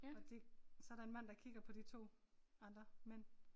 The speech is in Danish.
Og det så der en mand der kigger på de 2 andre mænd